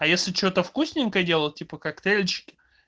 а если что-то вкусненькое делал типа коктейльчики